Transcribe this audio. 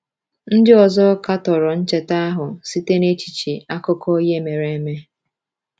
Ndị ọzọ katọrọ ncheta ahụ site n’echiche akụkọ ihe mere eme.